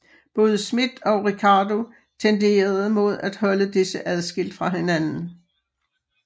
Både Smith og Ricardo tenderede mod at holde disse adskilt fra hinanden